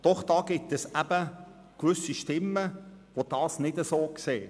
Doch es gibt gewisse Stimmen, die dies nicht so sehen.